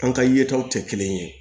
An ka yetaw tɛ kelen ye